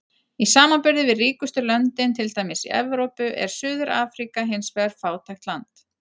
Í samanburði við ríkustu löndin, til dæmis í Evrópu, er Suður-Afríka hins vegar fátækt land.